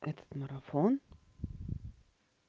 этот марафон